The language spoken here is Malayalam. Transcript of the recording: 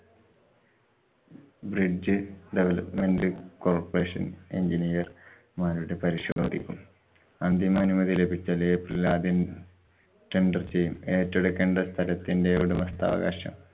bridge development corporation engineer മാരുടെ പരിശോധിക്കും. അന്തിമാനുമതി ലഭിച്ചത് april ആദ്യം. tendor ചെയ്യും. ഏറ്റെടുക്കേണ്ട സ്ഥലത്തിന്‍ടെ ഉടമസ്ഥാവകാശം.